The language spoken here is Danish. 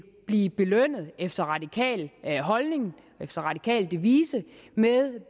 blive belønnet efter radikal efter radikal devise med